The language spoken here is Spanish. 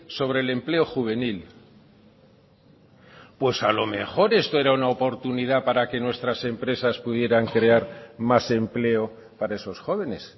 sobre el empleo juvenil pues a lo mejor esto era una oportunidad para que nuestras empresas pudieran crear más empleo para esos jóvenes